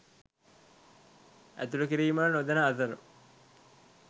ඇතුළු කිරීමට නොදෙන අතර